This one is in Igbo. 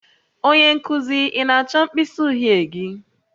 Onye nkuzi, ị na-achọ mkpịsị uhie gị?